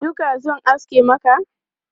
Duka zan aske maka?